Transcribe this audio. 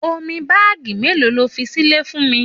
Òmí bààgí melo lòfí sílè fún mí?